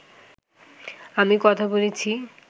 আমি কথা বলেছি